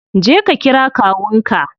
Je ka kira kawun ka.